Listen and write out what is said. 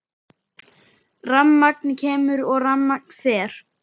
Rafmagn kemur og rafmagn fer.